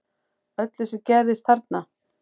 Öllu sem gerðist þarna